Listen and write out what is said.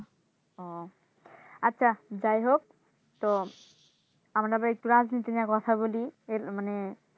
ও আচ্ছা যাইহোক তো আমরা এবার একটু রাজনীতি নিয়ে কথা বলি এর মানে